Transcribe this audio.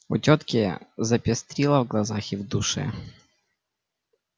у тётки запестрило в глазах и в душе